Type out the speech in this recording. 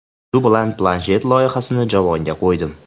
Shu bilan planshet loyihasini javonga qo‘ydim.